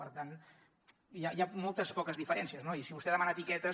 per tant hi ha molt poques diferències no i si vostè demana etiquetes